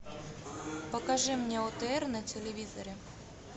покажи мне отр на телевизоре